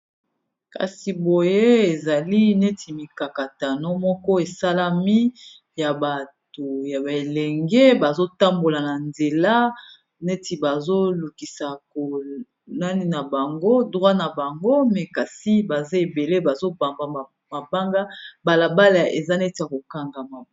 kasi boye ezali neti mikakatano moko esalami ya bato ya belenge bazotambola na nzela neti bazolukisa konani na bango drwit na bango me kasi baza ebele bazobamba mabanga balabala eza neti ya kokangama